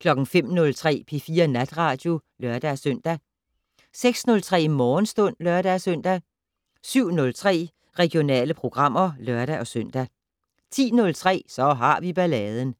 05:03: P4 Natradio (lør-søn) 06:03: Morgenstund (lør-søn) 07:03: Regionale programmer (lør-søn) 10:03: Så har vi balladen